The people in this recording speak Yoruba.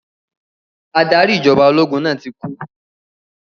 Adarí ìjọba ológun náà ti kú.